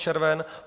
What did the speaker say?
červen?